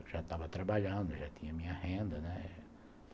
Eu já estava trabalhando, já tinha minha renda, né?